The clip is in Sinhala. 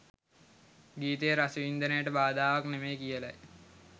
ගීතයේ රසවින්දනයට බාධාවක් නෙවෙයි කියලයි.